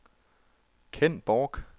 Kenn Bork